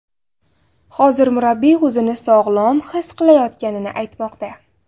Hozir murabbiy o‘zini sog‘lom his qilayotganini aytmoqda.